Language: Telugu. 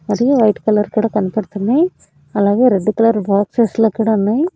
మరియు వైట్ కలర్ కూడా కనబడుతున్నాయి. అలాగే రెడ్ కలర్ బాక్సెస్ లో కూడా ఉన్నాయి.